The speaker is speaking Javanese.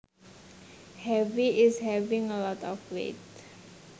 Heavy is having a lot of weight